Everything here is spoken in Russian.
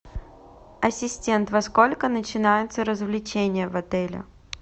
ассистент во сколько начинаются развлечения в отеле